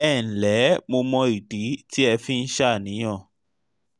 ẹ ǹlẹ́ mo mọ ìdí tí ẹ fi ń ṣàníyàn